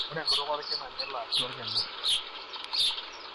ore enkutuk olkina nelo atua olkina.